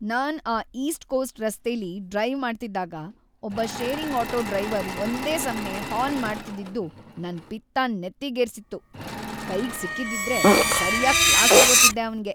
ನಾನ್‌ ಆ east coast ರಸ್ತೆಲಿ drive ಮಾಡ್ತಿದ್ದಾಗ ಒಬ್ಬ ಶೇರಿಂಗ್ ಆಟೋ ಡ್ರೈವರ್ ಒಂದೇ ಸಮ್ನೇ ಹಾರ್ನ್‌ ಮಾಡ್ತಿದ್ದಿದ್ದು ನನ್‌ ಪಿತ್ತನ್ ನೆತ್ತಿಗೇರ್ಸಿತ್ತು, ಕೈಗ್‌ ಸಿಕ್ಕಿದ್ದಿದ್ರೆ ಸರ್ಯಾಗ್‌ ಕ್ಲಾಸ್‌ ತಗೋತಿದ್ದೆ ಅವ್ನಿಗೆ.